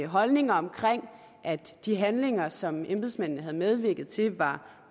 holdninger omkring at de handlinger som embedsmændene havde medvirket til var